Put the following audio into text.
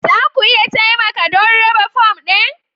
Za ku iya taimaka don raba fom ɗin